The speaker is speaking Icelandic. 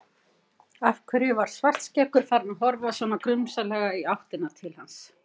Af hverju var Svartskeggur farinn að horfa svona grunsamlega í áttina til hans?